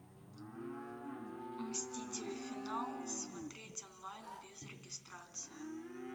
мстители финал смотреть онлайн без регистрации